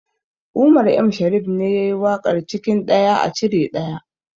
Umar M shariff ne yayi waƙar cikin ɗaya a cire ɗaya